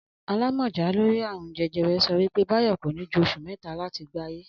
Alámò̩já lórí àrùn je̩je̩re̩ so̩ wí pé Báyò̩ kò ní ju os̩ù mé̩ta láti gbáyé